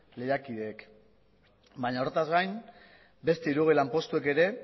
lehiakideek baina horretaz gain beste hirurogei lanpostuek ere